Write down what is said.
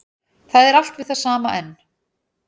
Það er allt við það sama enn